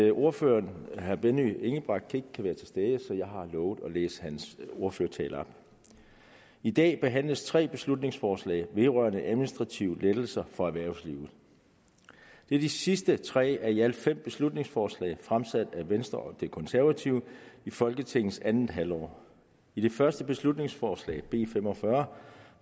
at ordføreren herre benny engelbrecht ikke kan være til stede så jeg har lovet at læse hans ordførertale op i dag behandles tre beslutningsforslag vedrørende administrative lettelser for erhvervslivet det er de sidste tre af i alt fem beslutningsforslag fremsat af venstre og de konservative i folketingets andet halvår i det første beslutningsforslag b fem og fyrre